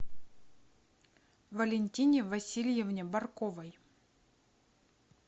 валентине васильевне барковой